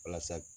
Walasa